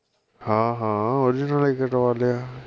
ਹਾ ਹਾਂ ਉਹਦੇ ਨਾਲ ਹੀ ਕਰਵਾ ਲਿਆ